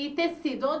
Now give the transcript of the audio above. E tecido?